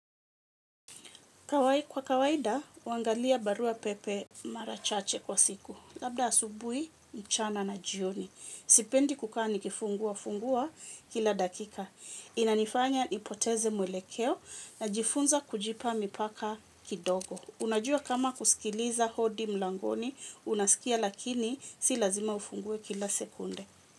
Kwa kawaida, uangalia barua pepe mara chache kwa siku. Labda asubui, mchana na jioni. Sipendi kukaa nikifungua-fungua kila dakika. Inanifanya nipoteze mwelekeo najifunza kujipa mipaka kidogo. Unajua kama kusikiliza hodi mlangoni, unasikia lakini si lazima ufungue kila sekunde.